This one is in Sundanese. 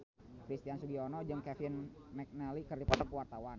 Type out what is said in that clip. Christian Sugiono jeung Kevin McNally keur dipoto ku wartawan